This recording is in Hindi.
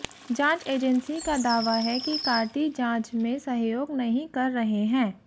जांच एजेंसी का दावा है कि कार्ति जांच में सहयोग नहीं कर रहे हैं